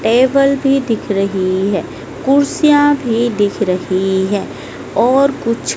Table भी दिख रही है। कुर्सियां भी दिख रही है और कुछ--